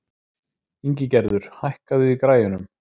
Ingigerður, hækkaðu í græjunum.